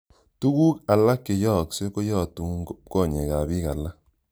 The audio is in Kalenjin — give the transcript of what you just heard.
Tuguk alak che yooksei koyotu konyek ap piik alak.